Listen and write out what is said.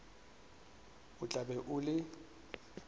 o tla be o le